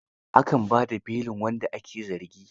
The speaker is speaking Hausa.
A kan ba da belin wanda ake zargi.